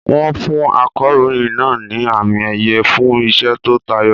Wọ́n fún akọ̀ròyìn náà ní àmì-ẹ̀yẹ fún iṣẹ́ tó tayọ.